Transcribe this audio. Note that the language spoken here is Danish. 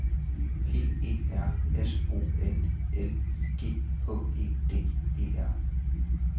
P E R S O N L I G H E D E R